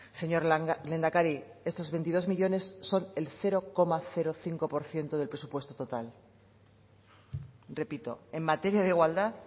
señor lehendakari estos veintidós millónes son el cero coma cinco por ciento del presupuesto total repito en materia de igualdad